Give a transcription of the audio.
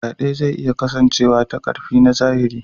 Faɗe zai iya kasancewa ta ƙarfi na zahiri.